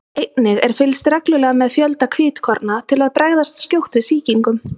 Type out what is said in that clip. einnig er fylgst reglulega með fjölda hvítkorna til að bregðast skjótt við sýkingum